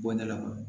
Bondala